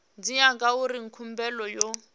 tshi ya ngauri khumbelo yo